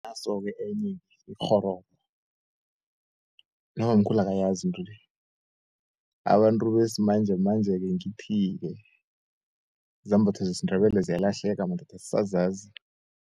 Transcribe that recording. Naso-ke enye ikghororo nobamkhulu akayazi intwele, abantu besimanjemanje-ke ngithi-ke, izambatho zesindebele ziyalahleka madoda asazazi.